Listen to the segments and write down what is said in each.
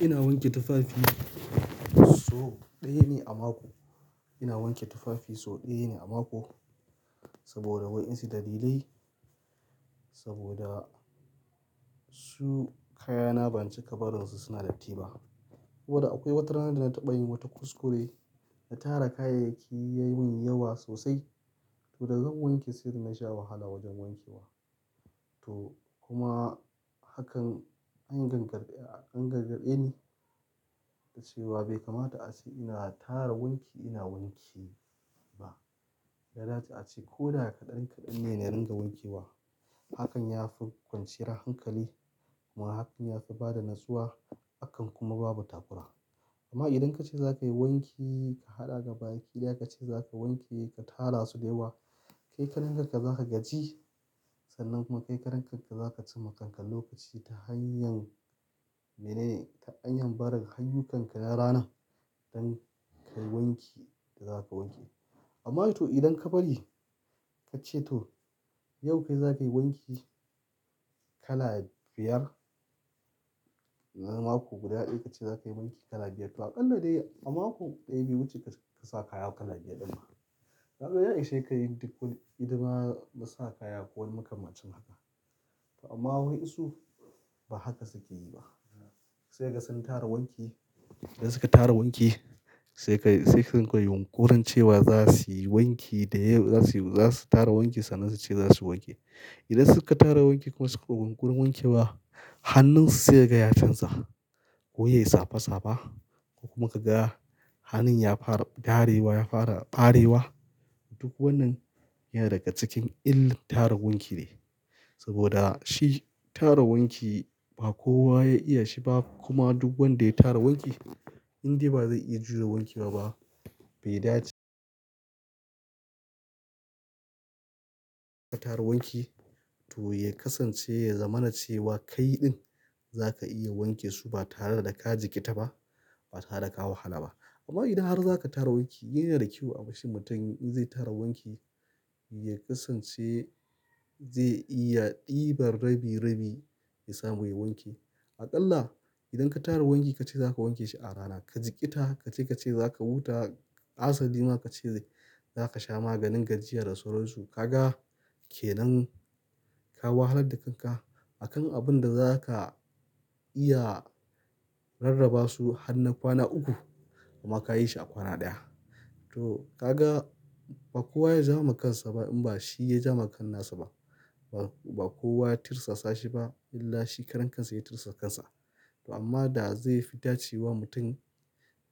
Ina wanke tufafi sau ɗaya ne a mako. Ina wanke tufafi sau ɗaya ne ama ko, saboda waensu dalilai. Saboda su kayana ban cika barin su suna datti ba. Saboda akwai watarana da na taɓa yi wata kuskure na tara kayayyaki ya yi min yawa sosai. Toh da zan wanke sai dana sha wahala wajen wanke wa. Toh kuma, hakan an gargade, an gargade ni da cewa bai kamata a ce ina tara wanki ina wanke ba. Da a ce ko da ya kaɗan kaɗan ne na ringa wanke wa. Hakan ya fi kwanciyar hankali kuma hakan ya fi bada natsuwa. Hakan kuma babu takura. Amma idan ka ce za ka yi wanki, ka haɗa gabaki daya ka ce za ka wanke ka tara su da yawa. Kai karan kanka za ka gaji, sannan kuma kai karan kanka za ka ci ma kankan lokaci ta hanyar, menene ta hanyar bada hanyun kanka na rana don ka wanke da za ka wanke. Amma toh idan ka bari ka ce toh yau kai za ka yi wanki kala biyar. Nan mako guda ɗaya ka ce za ka yi wanki kala biyar. To aƙalla dai a mako ɗaya bai wuce ka sa kaya kala biyar ɗin ba. Na fa ya ishe ka yi duk wani idan ba ka sa kaya ko ma ka ma cin haka. Amma waensu, ba haka suke yi ba. Sai ka ga sun tara wanki. Idan suka tara wanki sai kai sai sun kai yankurin cewa za su yi wanki da yau za su yi. Za su tara wanki sannan su ce za su wanke. Idan suka tara wanki kuma suka wankurin wanke wa, hannunsu sai ya ga canza. Ko yayi safa safa. Ko kuma ka ga, hannun ya fara garewa, ya fara ɓarewa. Duk wannan yana daga cikin illar tara wanki ne. Saboda shi tara wanki ba kowa ya iya shi ba. Kuma duk wanda ya tara wanki, indai ba zai iya juya wankewa ba. Bai dace. Tara wanki toh ya kasance zamana cewa ka yi ɗin za ka iya wanke su ba tare da ka jiƙita ba, ba tare da ka wahala ba. Amma idan har za ka tara wanki, yana da kyau abashi mutum in zai tara wanki ya kasance zai iya ɗiban rabi rabi ya samu ya wanke. Aƙalla idan ka tara wanki ka ce za ka wanke shi a rana, ka jiƙita ka ce ka ce za ka wuta asali ma ka ce za ka sha maganin gajiya da sauransu. Ka ga kenan, ka wahalar da kanka a kan abun da za ka iya, rarraba su har na kwana uku kuma ka yi shi a kwana ɗaya. Toh ka ga ba kowa ya ja ma kansa ba in ba shi ya ja ma kan nasa ba. Ba kowa ya tirsasa shi ba illa shi karan kansa ya tirsa kansa. To amma da zai fi dace wa mutum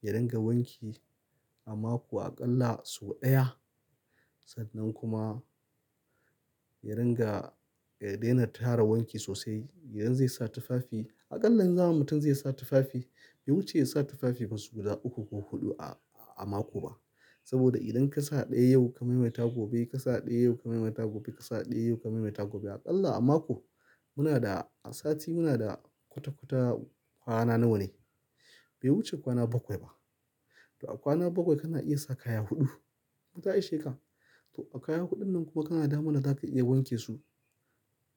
ya ringa wanki a mako aƙalla sau ɗaya. Sannan kuma ya ringa ya daina tara wanki sosai. Idan zai sa tufafi aƙalla zaman mutum zai sa tufafi bai wuce ya sa tufafi masu guda uku ko huɗu a mako ba. Saboda idan ka sa ɗaya yau ka mai mata gobe ka sa ɗaya yau ka mai mata gobe ka sa ɗaya yau ka mai mata gobe. Aƙalla a mako muna da sati muna da kwata-kwata kwana nawa ne? Bai wuce kwana bakwai ba. To a kwana bakwai kana iya sa kaya huɗu. Inta ishe ka. To a kaya huɗun nan kuma kana damuwa za ka iya wanke su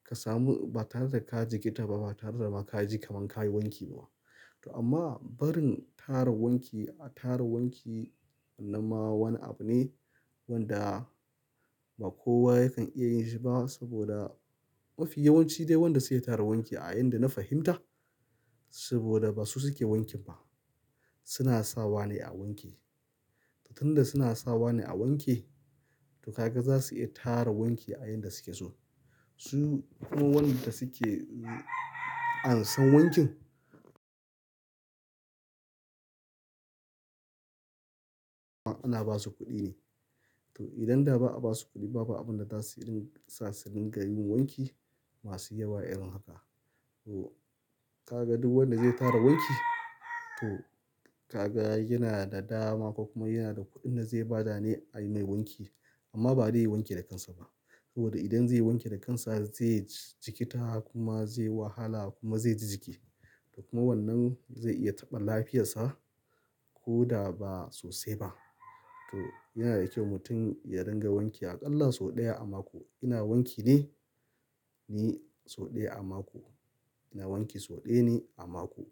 ka samu ba tare da ka jiƙita ba, ba tare da ma ka ji kaman ka yi wanki ba. Toh amma barin tara wanki a tara wanki nan ma wani abu ne wanda ba kowa yakan iya yin shi ba. Saboda mafi yawanci dai wanda suke tara wanki a yanda na fahimta saboda ba su suke wanki ba. Su na sa wane a wanke. Toh tun da suna sa wane a wanke to ka ga za su iya tara wanki a yanda suke so. Su kuma wanda suke an san wankin. Ana ba su kuɗi ne. To idan da ba'a ba su kuɗi babu abin da za su iya sa su rinƙa yin wanki masu yawa irin haka. Toh, ka ga duk wanda zai tara wanki toh, ka ga yana da dama ko kuma yana da kuɗin da zai ba dane a yi mai wanki. Amma ba dai ya wanki da kansa ba. Saboda idan zai wanke da kansa zai jiƙita kuma zai wahala kuma zai ji jiki. Kuma wannan zai iya taɓa lafiyarsa ko da ba sosai ba. Toh yana da kyau mutum ya ringa wanki aƙalla sau ɗaya a mako. Ina wanki ne, ne sau ɗaya a mako. Ina wanki sau ɗaya ne a mako.